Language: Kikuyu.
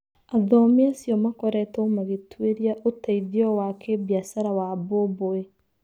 Athomi acio makoretwo magĩtwĩria ũteithĩo wa kĩmbiacara wa mbũmbũĩ.